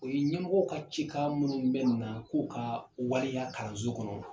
O ye ɲɛmɔgɔw ka cikan minnu bɛ na k'u ka waleya kalanso kɔnɔ